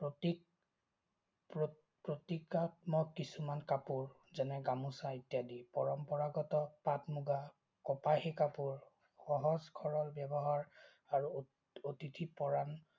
প্ৰতিকাত্মিক কিছুমান কাপোৰ, যেনে গামোছা ইত্যাদি। পৰম্পৰাগত পাট-মূগা, কপাহী কাপোৰ, সহজ-সৰল ব্যৱহাৰ আৰু অতিথি পৰায়ন